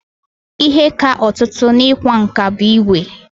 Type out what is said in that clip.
Ihe ka ọtụtụ n'ịkwa nkà bụ ígwè.